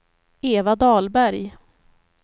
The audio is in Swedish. Eva Dahlberg